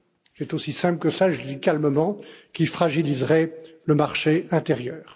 c'est aussi simple que cela et je le dis calmement qui fragiliserait le marché intérieur.